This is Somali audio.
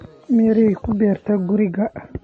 Mirehe ku beertay guriga?